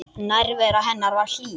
Nærvera hennar var hlý.